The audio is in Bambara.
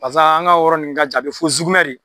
Paseke an ka o yɔrɔ nunnu ka jan a be fo zugumɛ de.